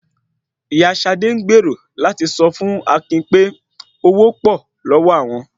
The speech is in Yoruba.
Ìyá Ṣadé gbèrò láti sọ fún Akin pé owó pò lọ́wọ́ àwọn